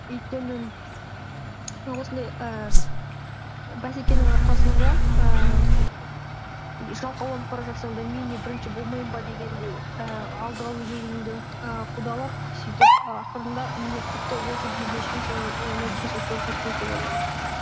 өйткені осындай ііі бәсекенің арқасында ііі жалқауланып бара жатсаң да мен не бірінші болмаймын ба дегендей і алдыға өз өзіңді і қудалап сөйтіп і ақырында міне тіпті осы күнге шейін соның і нәтижесін көріп жатырмыз деп ойлаймын